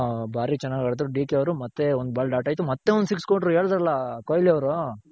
ಹಾ ಭಾರಿ ಚೆನಾಗ್ ಆಡಿದ್ರು D K ಅವ್ರು balled out ಆಯ್ತು ಮತ್ತೆ ಒಂದ್ six ಕೊಟ್ರು ಮತ್ತೆ ಹೇಳಿದ್ರಲ್ಲ ಹ ಕೊಹ್ಲಿ ಅವ್ರು.